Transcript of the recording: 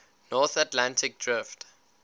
north atlantic drift